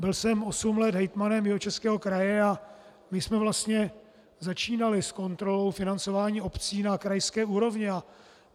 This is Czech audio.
Byl jsem osm let hejtmanem Jihočeského kraje a my jsme vlastně začínali s kontrolou financování obcí na krajské úrovni.